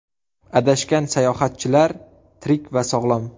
Adashgan sayohatchilar tirik va sog‘lom.